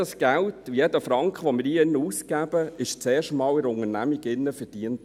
Jeder Franken, den wir hier drin ausgeben, wurde zuerst in einer Unternehmung verdient.